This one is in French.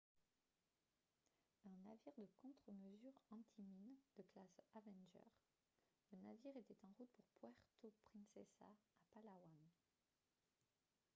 un navire de contre-mesures anti-mines de classe avenger le navire était en route pour puerto princesa à palawan